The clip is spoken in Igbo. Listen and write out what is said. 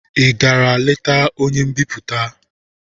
Ị gara leta onye mbipụta?